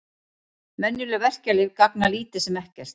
Venjuleg verkjalyf gagna lítið sem ekkert.